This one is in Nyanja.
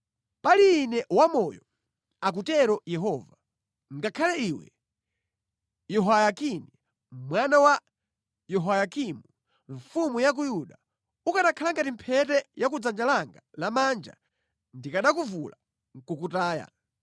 “Pali Ine wamoyo, akutero Yehova, ngakhale iwe, Yehoyakini mwana wa Yehoyakimu mfumu ya ku Yuda, ukanakhala ngati mphete ya ku dzanja langa lamanja, ndikanakuvula nʼkukutaya.